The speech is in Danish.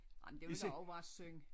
Jamen det ville da også være synd